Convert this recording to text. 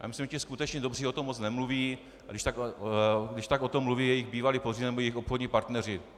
Já myslím, že ti skutečně dobří o tom moc nemluví, a když tak o tom mluví jejich bývalí podřízení nebo jejich obchodní partneři.